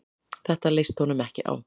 Þetta leist honum ekki á.